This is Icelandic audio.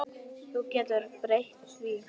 Þú getur ekki breytt því.